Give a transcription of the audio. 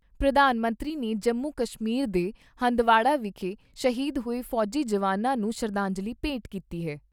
ਪ੍ਰਧਾਨ ਮੰਤਰੀ ਨੇ ਜੰਮੂ ਕਸ਼ਮੀਰ ਦੇ ਹੰਦਵਾੜਾ ਵਿਖੇ ਸ਼ਹੀਦ ਹੋਏ ਫੌਜੀ ਜਵਾਨਾਂ ਨੂੰ ਸ਼ਰਧਾਂਜਲੀ ਭੇਂਟ ਕੀਤੀ ਏ।